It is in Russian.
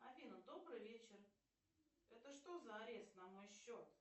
афина добрый вечер это что за арест на мой счет